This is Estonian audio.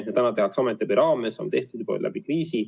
Seda täna tehakse ametiabi raames, on tehtud kriisiolukorras.